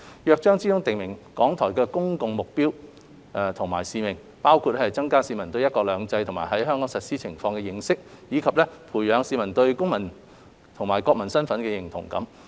《約章》中訂明港台的公共目的及使命，包括增加市民對"一國兩制"及其在香港實施情況的認識，以及培養市民對公民及國民身份的認同感。